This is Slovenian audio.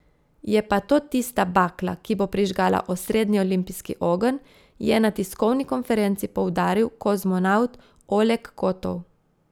Je pa to tista bakla, ki bo prižgala osrednji olimpijski ogenj, je na tiskovni konferenci poudaril kozmonavt Oleg Kotov.